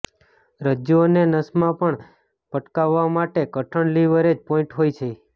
રજ્જૂ અને નસમાં પણ પટકાવવા માટે કઠણ લીવરેજ પોઇન્ટ હોય છે